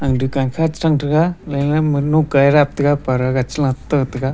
dukan kha che thang taga laila monok kairap taga parda gag chi la tah taga.